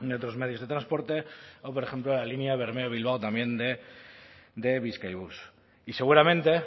otros medios de transporte o por ejemplo la línea bermeo bilbao también de bizkaibus y seguramente